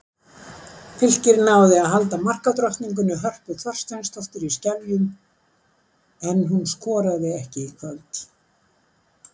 Fylkir náði að halda markadrottningunni Hörpu Þorsteinsdóttur í skefjum en hún skoraði ekki í kvöld.